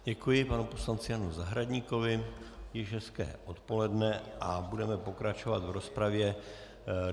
Děkuji panu poslanci Janu Zahradníkovi, již hezké odpoledne, a budeme pokračovat v rozpravě.